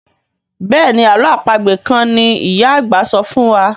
Béèni àlọ́ àpagbè kán ní ìyá àgbà sọfún wá.